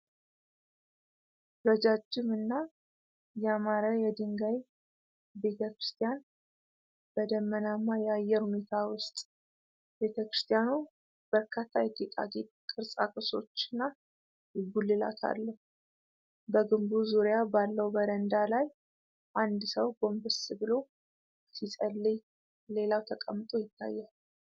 ረጃጅምና ያማረ የድንጋይ ቤተ ክርስቲያን በደመናማ የአየር ሁኔታ ውስጥ። ቤተ ክርስቲያኑ በርካታ የጌጣጌጥ ቅርጻ ቅርጾችና ጉልላት አለው። በግንቡ ዙሪያ ባለው በረንዳ ላይ አንድ ሰው ጎንበስ ብሎ ሲጸልይ ሌላው ተቀምጦ ይታያል።